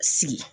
Sigi